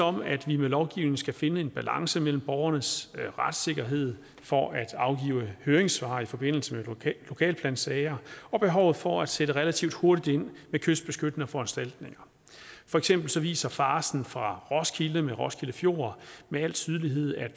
om at vi med lovgivning skal finde en balance mellem borgernes retssikkerhed for at afgive høringssvar i forbindelse med lokalplansager og behovet for at sætte relativt hurtigt ind med kystbeskyttende foranstaltninger for eksempel viser farcen fra roskilde med roskilde fjord med al tydelighed at